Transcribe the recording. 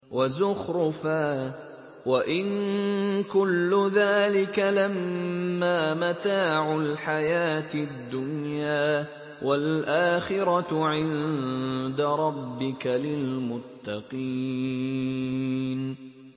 وَزُخْرُفًا ۚ وَإِن كُلُّ ذَٰلِكَ لَمَّا مَتَاعُ الْحَيَاةِ الدُّنْيَا ۚ وَالْآخِرَةُ عِندَ رَبِّكَ لِلْمُتَّقِينَ